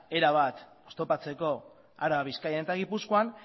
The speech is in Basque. erabat oztopatzeko araba bizkaia eta gipuzkoan